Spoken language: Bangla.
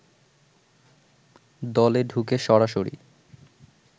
দলে ঢুকে সরাসরি